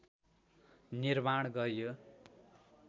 निर्माण गर्‍यो